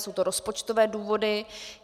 Jsou to rozpočtové důvody.